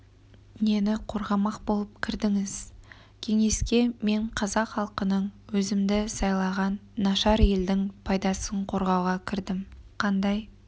нені қорғамақ болып кірдіңіз кеңеске мен қазақ халқының өзімді сайлаған нашар елдің пайдасын қорғауға кірдім қандай